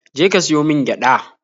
Je ka siyo min gyada!